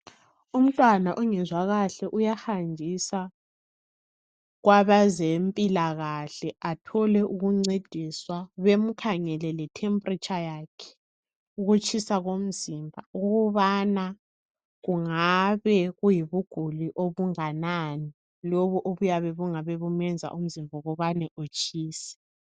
Umntwana ongezwa kahle uyahanjiswa kwabezempilakahle. Atholwe ukuncediswa. Bamkhangele letemperature yakhe, ukutshisa komzimba. Ukubana kungabe kuyibuguli obunganani lobu obuyabe bungabe bumenza umzimba wakhe utshise.